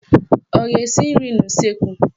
Ọ ga-esi nri n'useekwu?